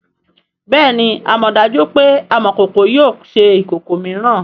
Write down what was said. bẹẹni amọdaju pe amokoko yio ṣe ikoko miiran.